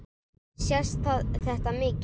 Sést þetta mikið?